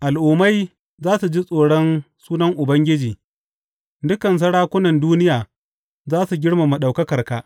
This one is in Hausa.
Al’ummai za su ji tsoron sunan Ubangiji, dukan sarakunan duniya za su girmama ɗaukakarka.